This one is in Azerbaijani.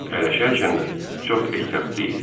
Əyləşərkən də çox ehtiyatlı idi.